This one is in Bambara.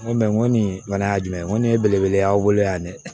N ko n ko nin fana ye jumɛn ye n ko nin ye belebele ye aw bolo yan dɛ